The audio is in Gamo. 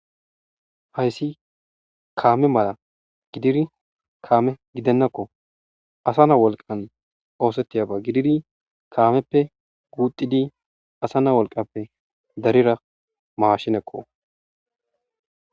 hayssi kaame mala gidiri kaame gidennakko asa na wolqan oosettiyaba gidiri kaameppe guuxidi asa na wolqappe darira maashinekko